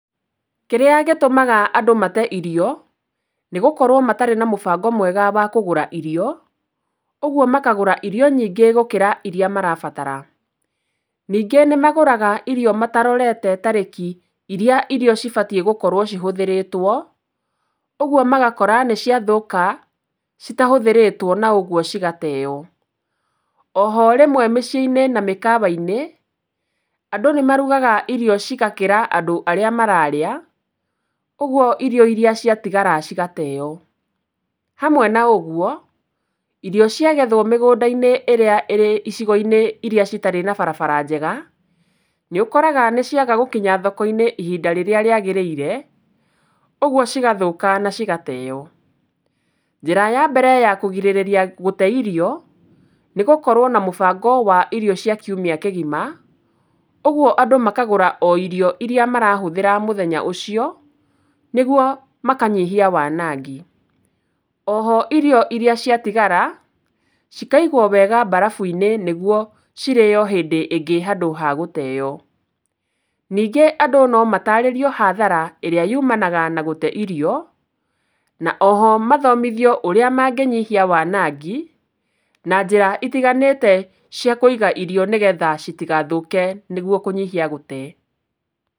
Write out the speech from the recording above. Kĩrĩa gĩtũmaga andũ mate irio nĩ gũkorwo matarĩ na mũbango mwega wa kũgũra irio, koguo makagũra irio nyĩngĩ gũkĩra iria marabatara. Ningĩ nĩmagũraga irio matarorete tariki iria irio cibatiĩ gũkorwo cihũthĩrĩtwo, oguo magakora nĩciathũka citahũthĩrĩtwo na ũguo cigateo. O ho mĩciĩ-inĩ na mĩkawa, andũ nĩmarugaga irio igakĩra arĩa mararĩa, ũguo irio iria ciatigara cigateo. Hamwe na ũguo irio ciagethwo mĩgũnda-inĩ ĩrĩa ĩrĩ icigo-inĩ iria citarĩ na barabara njega, nĩ ũkoraga nĩciaga gũkinya thoko-inĩ ihinda rĩrĩa rĩagĩrĩire ũguo cigathũka na cigateo. Njĩra ya mbere ya kũgirĩrĩria gũte irio, nĩ gũkorwo na mũbango wa irio cia kiumia kĩgima, ũguo andũ makagũra irio iria marahũthĩra mũthenya o ũcio, nĩguo makanyihia wanangi. O ho irio iria ciatigara cikaigwo wega mbarabu-inĩ, nĩguo cirĩyo hĩndĩ ĩngĩ handũ ha gũteyo. Ningĩ andũ no matarĩrio hathara ĩrĩa yumanaga na gũte irio, na o ho mathomithio ũrĩa mangĩnyihia wanangi, na njĩra itiganĩte cia kũiga irio, nĩgetha citigathũke nĩguo kũnyihia gũte.